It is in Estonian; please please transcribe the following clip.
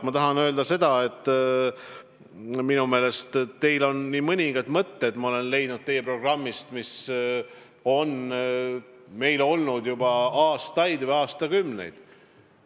Ma tahan öelda seda, et minu meelest on teie programmis nii mõningaidki mõtteid, mis on meie programmis olnud juba aastaid või aastakümneid.